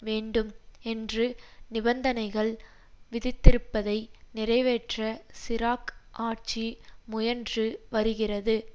வேண்டும் என்று நிபந்தனைகள் விதித்திருப்பதை நிறைவேற்ற சிராக் ஆட்சி முயன்று வருகிறது